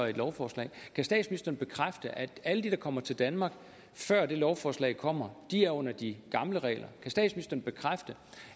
et lovforslag kan statsministeren bekræfte at alle de der kommer til danmark før det lovforslag kommer er under de gamle regler kan statsministeren bekræfte